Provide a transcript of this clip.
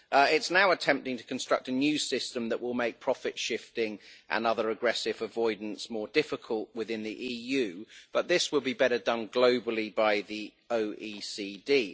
It is now attempting to construct a new system that will make profit shifting and other aggressive avoidance more difficult within the EU, but this would be better done globally by the OECD.